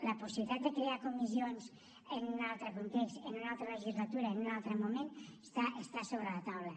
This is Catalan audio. la possibilitat de crear comissions en un altre context en una altra legislatura en un altre moment està sobre la taula